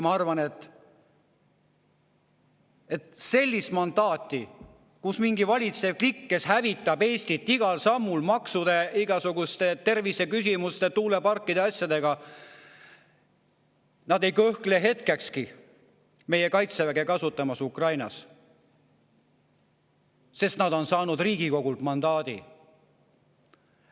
" Ma arvan, et selline valitsev klikk, kes hävitab Eestit igal sammul maksude, igasuguste terviseküsimuste, tuuleparkide ja muude asjadega, ei kõhkle hetkekski meie kaitseväe kasutamises Ukrainas, sest nad on saanud Riigikogult mandaadi.